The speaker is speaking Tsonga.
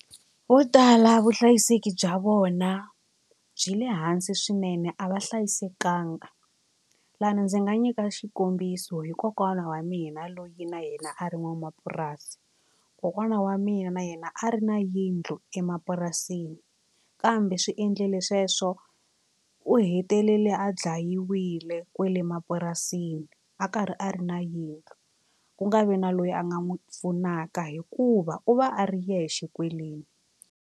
Vo tala vuhlayiseki bya vona byi le hansi swinene a va hlayisekanga lani ndzi nga nyika xikombiso hi kokwana wa mina loyi na yena a ri n'wanamapurasi. Kokwana wa mina na yena a ri na yindlu emapurasini kambe swi endlile sweswo u hetelele a dlayiwile kwale mapurasini a karhi a ri na yindlu ku nga vi na loyi a nga n'wi pfunaka hikuva u va a ri yexe kwele.